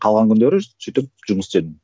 қалған күндері сөйтіп жұмыс істедім